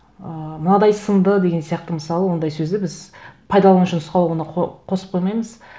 ыыы мынадай сынды деген сияқты мысалы ондай сөзді біз пайдаланушының сауалына қосып қоймаймыз